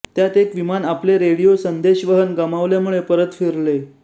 त्यात एक विमान आपले रेडियो संदेशवहन गमावल्यामुळे परत फिरले